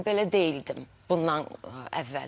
Mən belə deyildim bundan əvvəl.